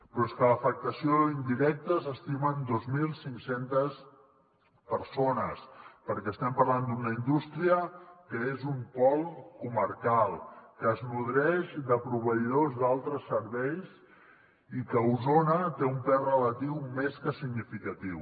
però és que l’afectació indirecta s’estima en dos mil cinc cents persones perquè estem parlant d’una indústria que és un pol comarcal que es nodreix de proveïdors d’altres serveis i que a osona té un pes relatiu més que significatiu